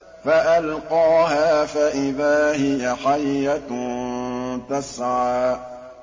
فَأَلْقَاهَا فَإِذَا هِيَ حَيَّةٌ تَسْعَىٰ